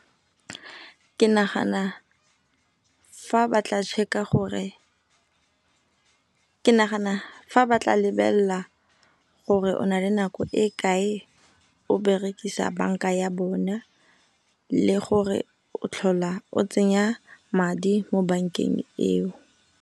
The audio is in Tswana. Ke nagana fa ba tla check-a gore, ke nagana fa ba tla lebela gore o na le nako e kae o berekisa banka ya bona le gore o tlhola o tsenya madi mo bank eng eo.